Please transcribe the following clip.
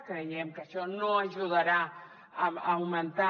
creiem que això no ajudarà a augmentar